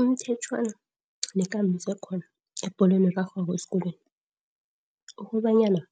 Imithetjhwana nekambiswakhona ebholweni erarhwako esikolweni ukobanyana